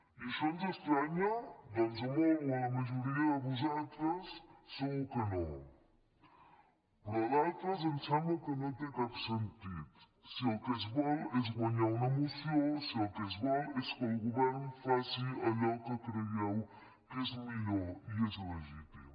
i això ens estranya doncs a molts o a la majoria de vosaltres segur que no però a d’altres ens sembla que no té cap sentit si el que es vol és guanyar una moció si el que es vol és que el govern faci allò que creieu que és millor i és legítim